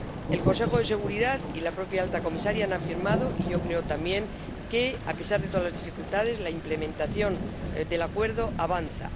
El Consejo de Seguridad y la propia alta comisaria han afirmado ⸻y yo creo, también⸻ que, a pesar de todas las dificultades, la implementación del acuerdo avanza.